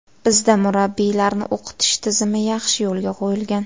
Bizda murabbiylarni o‘qitish tizimi yaxshi yo‘lga qo‘yilgan.